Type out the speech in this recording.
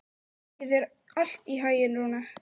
Gangi þér allt í haginn, Rúna.